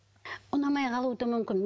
ұнамай қалуы да мүмкін